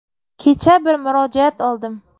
Kecha bir murojaat oldim.